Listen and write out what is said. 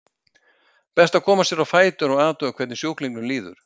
Best að koma sér á fætur og athuga hvernig sjúklingnum líður.